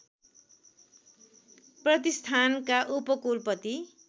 प्रतिष्ठानका उपकुलपति